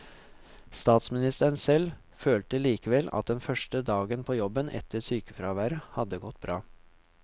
Statsministeren selv følte likevel at den første dagen på jobben etter sykefraværet hadde gått bra.